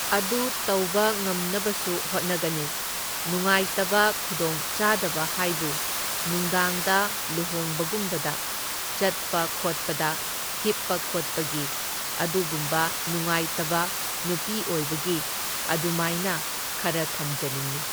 ꯑꯗꯨ ꯇꯧꯕ ꯉꯝꯅꯕꯁꯨ ꯍꯣꯠꯅꯒꯅꯤ, ꯅꯨꯡꯉꯥꯏꯇꯕ ꯈꯨꯗꯣꯡꯆꯥꯗꯕ ꯍꯥꯏꯕꯨ ꯅꯨꯡꯗꯥꯡꯗ ꯂꯨꯍꯣꯡꯕꯒꯨꯝꯕꯗ ꯆꯠꯄ ꯈꯣꯠꯄꯗ, ꯍꯤꯞꯄ ꯈꯣꯠꯄꯒꯤ ꯑꯗꯨꯒꯨꯝꯕ ꯅꯨꯡꯉꯥꯏꯇꯕ ꯅꯨꯄꯤ ꯑꯣꯏꯕꯒꯤ ꯑꯗꯨꯃꯥꯏꯅ ꯈꯔ ꯊꯝꯖꯅꯤꯡꯢ꯫